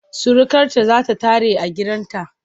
Surukarta za ta tare a gidanta.